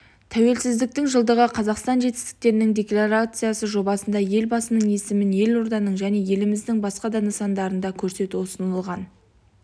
тәуелсіздіктің жылдығы қазақстан жетістіктерінің декларациясы жобасында елбасының есімін елорданың және еліміздің басқа да нысандарында көрсету ұсынылған